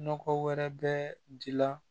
Nɔgɔ wɛrɛ bɛ ji la